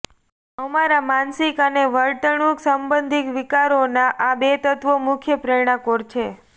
અમારા માનસિક અને વર્તણૂક સંબંધી વિકારોના આ બે તત્વો મુખ્ય પ્રેરણા કોર છે